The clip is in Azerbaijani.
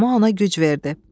Tamah ona güc verdi.